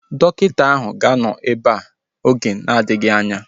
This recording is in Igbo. Dọkịta áhụ̀ ga-anọ ebea oge na-adịghị anya